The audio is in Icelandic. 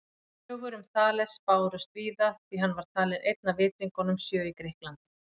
Sögur um Þales bárust víða því hann var talinn einn af vitringunum sjö í Grikklandi.